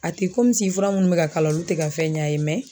A tɛ komi fura minnu bɛ ka kala olu tɛ ka fɛn ɲɛ a ye